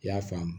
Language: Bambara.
I y'a faamu